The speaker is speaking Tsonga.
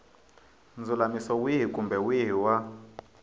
ndzulamiso wihi kumbe wihi wa